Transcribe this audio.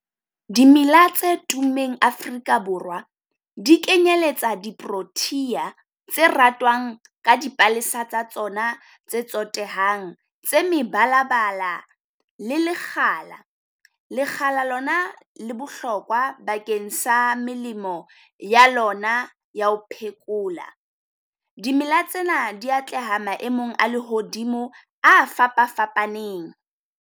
Dimela tse tummeng Afrika Borwa di kenyeletsa di protea tse ratwang ka dipalesa tsa tsona tse tsotehang tse mebalabala. Le lekgala, lekgala lona le bohlokwa bakeng sa melemo ya lona ya ho phekola. Dimela tsena di atleha maemong a lehodimo, a fapa fapaneng.